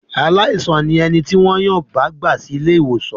Aláìsàn ni ẹni tí wọ́n yàn bá gbà sí ilé-ìwòsàn.